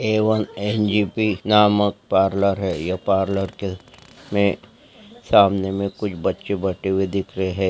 A1 N J B नामक ये parlour है ये पार्लर में सामने में कुछ बच्चे बैठे हुए दिख रहे हैं|